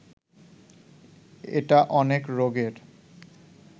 এটা অনেক রোগের